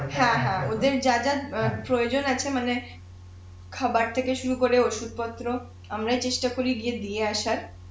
হ্যাঁ হ্যাঁ, ওদের যা যা অ্যাঁ প্রয়োজন আছে মানে খাবের থেকে শুরু করে ঔষধ পত্র আমরা চেষ্টা করি গিয়ে দিয়ে আসার